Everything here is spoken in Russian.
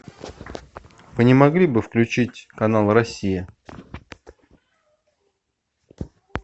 вы не могли бы включить канал россия